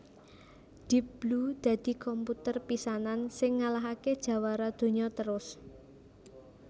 Deep Blue dadi komputer pisanan sing ngalahaké jawara donya terus